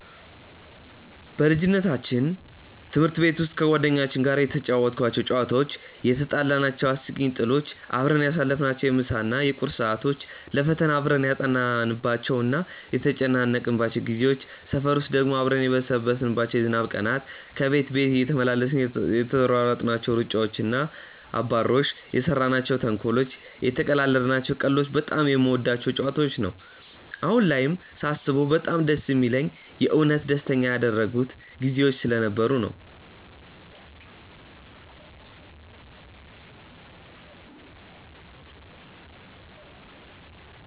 በልጅነታችን ትምህርት ቤት ውስጥ ከጓደኞቼ ጋር የተጫወትኳቸው ጨዋታዎች፣ የትጣላናቸው አስቂኝ ጥሎች፣ አብረን ያሳለፍናቸውን የምሳ እና የቁርስ ሰዓቶች፣ ለፈተና አብረን ያጠናንባቸው እና የተጨነቅንባቸው ጊዜዎች፣ ሰፈር ውስጥ ደግሞ አብረን የበሰበስንባቸው የዝናብ ቀናት፣ ከቤት ቤት እየተመላለስን የተሯሯጥናቸው ሩጫዎች እና አባሮሾች፣ የሰራናቸው ተንኮሎች፣ የተቀላለድናቸው ቀልዶች በጣም የምወዳቸው ጨዋታዎች ነው። አሁን ላይም ሳስበው በጣም ደስ የሚለኝ የእውነት ደስተኛ ያደረጉኝ ጊዜዎች ስለነበሩ ነው።